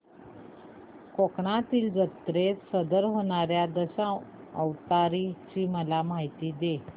कोकणातील जत्रेत सादर होणार्या दशावताराची मला माहिती दे